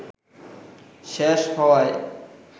শেষ হওয়ায়